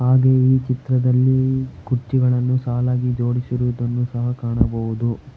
ಹಾಗೆ ಈ ಚಿತ್ರದಲ್ಲಿ ಕುರ್ಚಿಗಳನ್ನು ಸಾಲಾಗಿ ಜೋಡಿಸಿರುವುದನ್ನು ಸಹಾ ಕಾಣಬಹುದು.